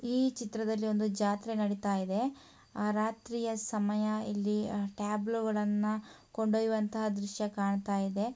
ಈ ಚಿತ್ರದಲ್ಲಿ ಒಂದು ಜಾತ್ರೆ ನಡೀತಾ ಇದೆ ಆ ರಾತ್ರಿಯ ಸಮಯ ಇಲ್ಲಿ ಟ್ಯಾಬ್ಲೂಗಳನ್ನ ಕೊಂಡೊಯ್ಯುವಂತ ದೃಶ್ಯಕಾಣತ್ತಾಯಿದೆ.